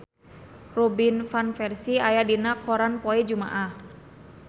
Robin Van Persie aya dina koran poe Jumaah